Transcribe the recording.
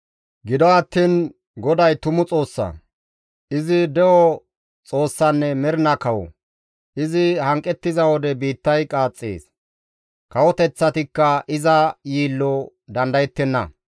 Gido attiin GODAY tumu Xoossa; izi de7o Xoossanne mernaa Kawo. Izi hanqettiza wode biittay qaaxxees; kawoteththatikka iza yiillo dandayettenna.